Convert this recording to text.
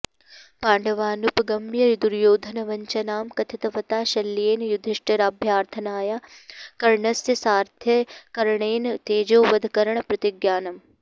पाण्डवानुपगम्य दुर्योधनवञ्चनां कथितवता शल्येन युधिष्ठिराभ्यर्थनया कर्णस्य सारथ्यकरणेन तेजोवधकरणप्रतिज्ञानम्